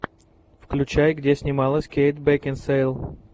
включай где снималась кейт бекинсейл